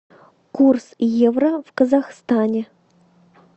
курс евро в казахстане